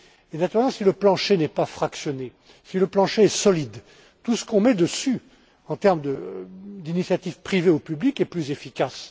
Mais naturellement, si le plancher n'est pas fractionné, si le plancher est solide, tout ce qu'on met dessus, en termes d'initiatives privées ou publiques, est plus efficace.